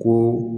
Ko